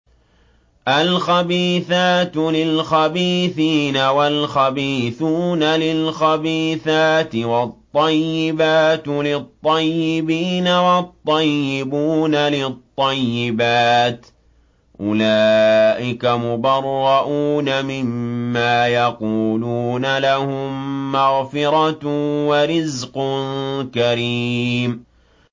الْخَبِيثَاتُ لِلْخَبِيثِينَ وَالْخَبِيثُونَ لِلْخَبِيثَاتِ ۖ وَالطَّيِّبَاتُ لِلطَّيِّبِينَ وَالطَّيِّبُونَ لِلطَّيِّبَاتِ ۚ أُولَٰئِكَ مُبَرَّءُونَ مِمَّا يَقُولُونَ ۖ لَهُم مَّغْفِرَةٌ وَرِزْقٌ كَرِيمٌ